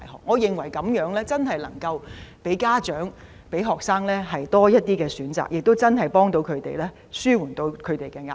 我認為這樣能給家長和學生多一些選擇，真的可以幫助他們紓緩壓力。